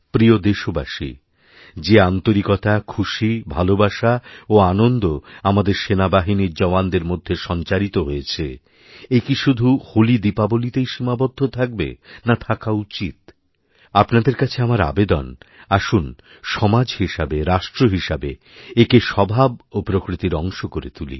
প্রিয়দেশবাসী যে আন্তরিকতা খুশী ভালোবাসা ও আনন্দ আমাদের সেনাবাহিনীর জওয়ানদের মধ্যেসঞ্চারিত হয়েছে একি শুধু হোলিদীপাবলিতেই সীমাবদ্ধ থাকবে না থাকা উচিৎ আপনাদেরকাছে আমার আবেদন আসুন সমাজ হিসেবে রাষ্ট্র হিসেবে একে স্বভাব ও প্রকৃতির অংশকরে তুলি